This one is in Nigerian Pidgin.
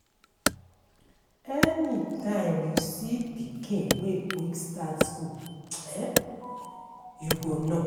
anytime you see pikin way quick start school, you go know